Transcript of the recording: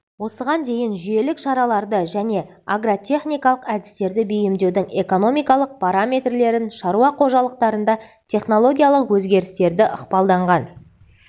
осыған дейін жүйелік шараларды және агротехникалық әдістерді бейімдеудің экономикалық параметрлерін шаруа қожалықтарында технологиялық өзгерістерді ықпалданған